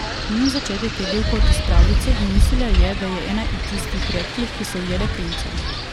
Njun začetek je bil kot iz pravljice in mislila je, da je ena tistih redkih, ki so ujele princa.